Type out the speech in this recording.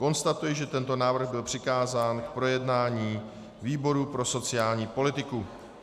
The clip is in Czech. Konstatuji, že tento návrh byl přikázán k projednání výboru pro sociální politiku.